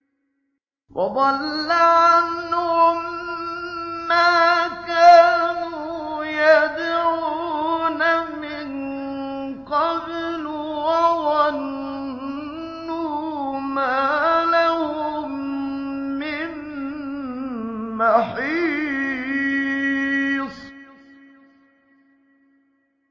وَضَلَّ عَنْهُم مَّا كَانُوا يَدْعُونَ مِن قَبْلُ ۖ وَظَنُّوا مَا لَهُم مِّن مَّحِيصٍ